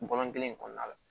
Bɔlɔn kelen in kɔnɔna la